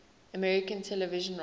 american television writers